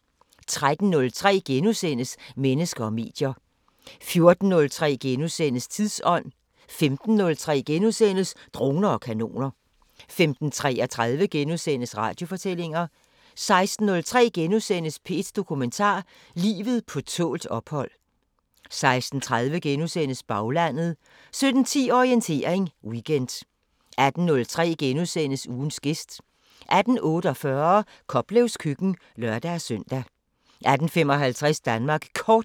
13:03: Mennesker og medier * 14:03: Tidsånd * 15:03: Droner og kanoner * 15:33: Radiofortællinger * 16:03: P1 Dokumentar: Livet på tålt ophold * 16:30: Baglandet * 17:10: Orientering Weekend 18:03: Ugens gæst * 18:48: Koplevs køkken (lør-søn) 18:55: Danmark Kort